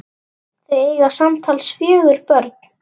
Þau eiga samtals fjögur börn.